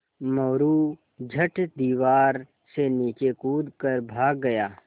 मोरू झट दीवार से नीचे कूद कर भाग गया